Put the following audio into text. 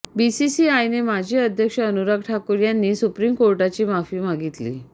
बीसीसीआयने माजी अध्यक्ष अनुराग ठाकूर यांनी सुप्रीम कोर्टाची माफी